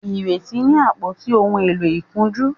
Ireti ní àpótí òún èló ìkunjú